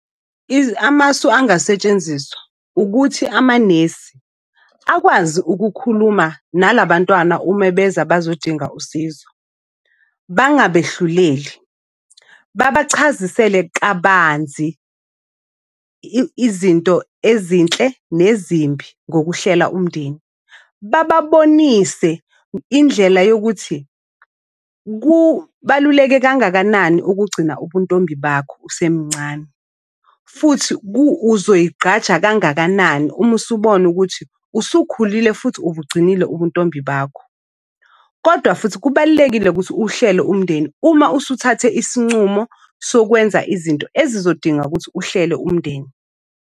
Amasu angasetshenziswa ukuthi amanesi akwazi ukukhuluma nalabantwana ume beze bazodinga usizo. Bangabehluleli. Babachazisele kabanzi izinto ezinhle nezimbi ngokuhlela umndeni. Bababonise indlela yokuthi kubaluleke kangakanani ukugcina ubuntombi bakho usemncane, futhi uzoyigqaja kangakanani uma usubona ukuthi usukhulile futhi ubugcinile ubuntombi bakho. Kodwa futhi kubalulekile ukuthi uhlele umndeni uma usuthathe isincumo sokwenza izinto ezizodinga ukuthi uhlele umndeni.